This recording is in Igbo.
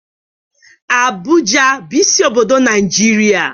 Abụja bụ isi obodo Naijiria